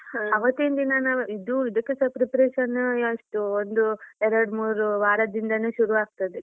ಅವತ್ತಿಂದಿನ ನಾವು ಇದು ಇದಕ್ಕೆಸ preparation ಎಷ್ಟು ಒಂದು ಎರಡು ಮೂರು ವಾರದಿಂದನೇ ಶುರು ಆಗ್ತದೆ.